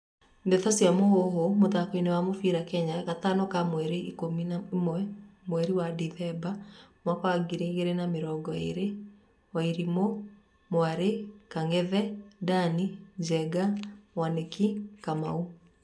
Ndeto cia Mũhuhu, mũthakoini wa mũbĩra Kenya, Gatano ka mweri ikũmi na ĩmwe, mweri wa dithemba, mwaka wa ngiri igĩrĩ na mĩrongo ĩrĩ :Wairuthi, mwari, Kang'ethe, Dani, Njenga, Mwaniki, Kamau.